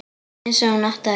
Einsog hún átti að gera.